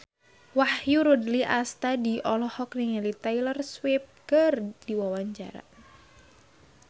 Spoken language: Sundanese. Wahyu Rudi Astadi olohok ningali Taylor Swift keur diwawancara